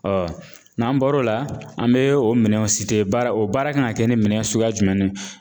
n'an bɔr'o la an be o minɛnw baara o baara kan ŋa kɛ ni minɛn suguya jumɛn ni